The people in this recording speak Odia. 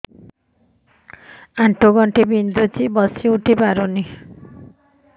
ଆଣ୍ଠୁ ଗଣ୍ଠି ବିନ୍ଧୁଛି ବସିଉଠି ପାରୁନି